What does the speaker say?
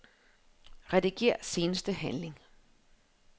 Rediger seneste handling.